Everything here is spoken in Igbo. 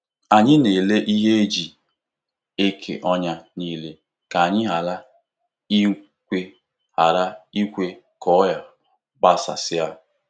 Anyị na-ere ihe e ji eke ọnya nile ka anyị ghara ikwe ghara ikwe ka ọrịa gbasasịa.